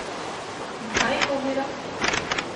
In kaj jih ovira?